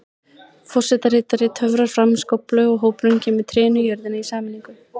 Forsetaritari töfrar fram skóflu og hópurinn kemur trénu í jörðina í sameiningu.